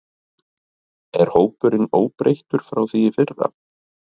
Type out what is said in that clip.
Er hópurinn óbreyttur frá því í fyrra?